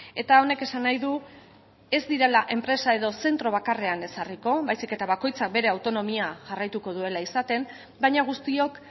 eta honek esan nahi du ez direla enpresa edo zentro bakarrean ezarriko baizik eta bakoitzak bere autonomia jarraituko duela izaten baina guztiok